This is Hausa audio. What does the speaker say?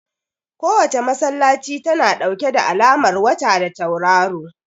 Kowace masallaci tana ɗauke da alamar wata da tauraro